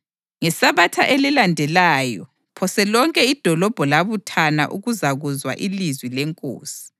NgeSabatha elilandelayo phose lonke idolobho labuthana ukuzakuzwa ilizwi leNkosi.